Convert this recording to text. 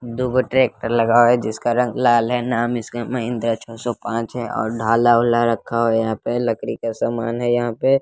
दू गो ट्रैक्टर लगा हुआ है जिसका रंग लाल है नाम इसका महिंद्रा छ सौ पाँच है और ढाला-उला रक्खा और यहां पे लकड़ी का समान है यहां पे --